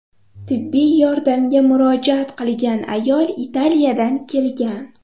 Tibbiy yordamga murojaat qilgan ayol Italiyadan kelgan.